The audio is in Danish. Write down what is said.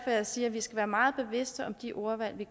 at jeg siger at vi skal være meget bevidste om de ordvalg vi